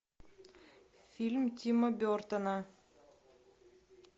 фильм тима бертона